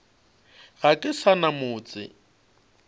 ga ke sa na motse